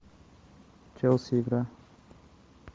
челси игра